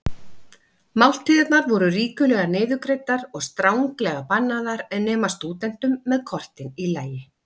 Máltíðirnar voru ríkulega niðurgreiddar og stranglega bannaðar nema stúdentum með kortin í lagi.